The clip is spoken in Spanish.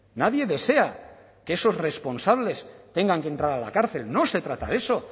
nadie desea que esos responsables tengan que entrar a la cárcel no se trata de eso